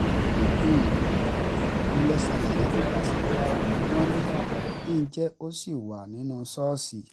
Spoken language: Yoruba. mo lọ́ ṣàlàyé fún pásítọ̀ ṣùgbọ́n wọ́n ní kí n jẹ́ kó ṣì wà nínú ṣọ́ọ̀ṣì